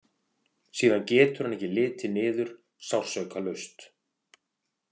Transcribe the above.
Síðan getur hann ekki litið niður sársaukalaust.